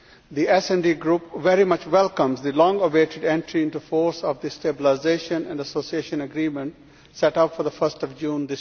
The SD Group very much welcomes the long awaited entry into force of the Stabilisation and Association Agreement set up for 1 June